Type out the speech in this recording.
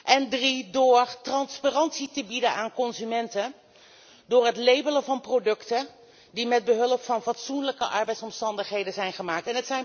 En ten derde door transparantie te bieden aan consumenten door het labelen van producten die onder fatsoenlijke arbeidsomstandigheden zijn gemaakt.